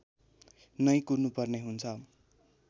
नै कुर्नुपर्ने हुन्छ